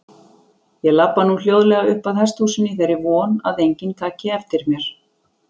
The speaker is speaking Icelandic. Ég labba nú hljóðlega uppað hesthúsinu í þeirri von að enginn taki eftir mér.